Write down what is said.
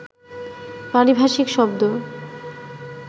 পারিভাষিক শব্দ